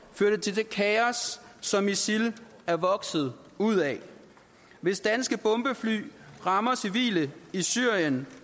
førte til det kaos som isil er vokset ud af hvis danske bombefly rammer civile i syrien